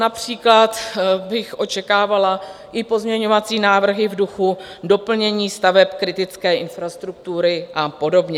Například bych očekávala i pozměňovací návrhy v duchu doplnění staveb kritické infrastruktury a podobně.